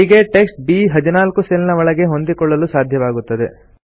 ಹೀಗೆ ಟೆಕ್ಸ್ಟ್ ಬ್14 ಸೆಲ್ ನ ಒಳಗೆ ಹೊಂದಿಕೊಳ್ಳಲು ಸಾಧ್ಯವಾಗುತ್ತದೆ